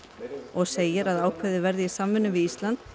og segir að ákveðið verði í samvinnu við Ísland